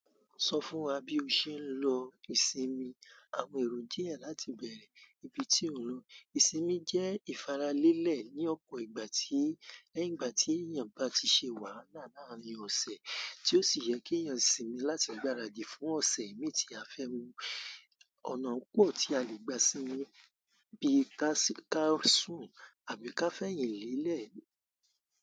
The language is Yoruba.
Sọ fún wa bí o ṣe ń lo ìsinmi àwọn èrò díẹ̀ láti bẹ̀rẹ̀ ìbí tí ò ń lọ. Ìsinmi jẹ́ ìfaralẹ́lẹ̀ ní ọ̀pọ̀ ìgbà tí, lẹ́yìn ìgbà tí èyàn bá ti ṣe wàhálà làárín ọ̀sẹ̀, tí ó sì yẹ kí èyàn sinmi láti gbáradì fún ọ̀sẹ̀ imí tí a fẹ́ mu. Ọ̀nà pọ̀ tí a lè gba sinmi bí ká sùn àbí ká fẹyin lélẹ̀.